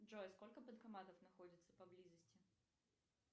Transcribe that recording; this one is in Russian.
джой сколько банкоматов находится поблизости